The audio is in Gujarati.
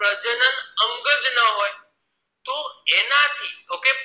તો એનાથી okay